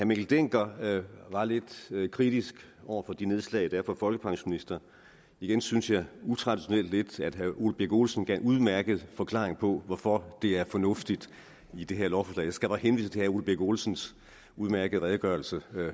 mikkel dencker var lidt kritisk over for de nedslag der er for folkepensionister igen synes jeg utraditionelt at herre ole birk olesen gav en udmærket forklaring på hvorfor det er fornuftigt i det her lovforslag skal bare henvise til herre ole birk olesens udmærkede redegørelse